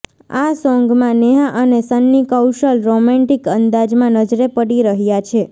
આ સોન્ગમાં નેહા અને સન્ની કૌશલ રોમેંટિક અંદાજમાં નજરે પડી રહ્યા છે